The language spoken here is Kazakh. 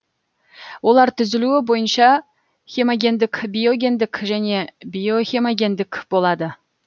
олар түзілуі бойынша хемогендік биогендік және биохемогендік болады